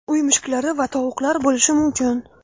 uy mushuklari va tovuqlar bo‘lishi mumkin;.